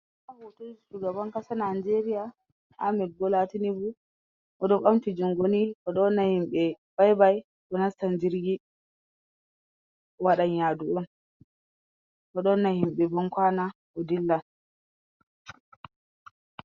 Hoto shugaban kasa najeria ahmed bola tinibu odo bamti jungoni odo wanna himbe byby, odo nasta jirgi owadan yadu'un odowanna himbe bankwana o dillan.